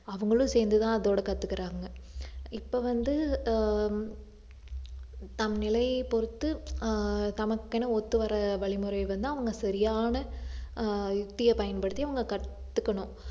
அவங்களும் சேர்ந்துதான் அதோட கத்துக்குறாங்க இப்ப வந்து ஆஹ் தம் நிலையைப் பொறுத்து ஆஹ் தமக்கென ஒத்துவர வழிமுறையை வந்து அவங்க சரியான ஆஹ் யுக்தியைப் பயன்படுத்தி அவங்க கத்துக்கணும்